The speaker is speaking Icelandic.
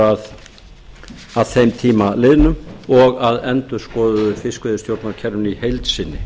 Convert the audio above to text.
að þeim tíma liðnum og að endurskoðuðu fiskveiðistjórnarkerfinu í heild sinni